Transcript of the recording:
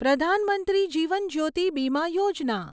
Pradhan Mantri Jeevan Jyoti Bima Yojana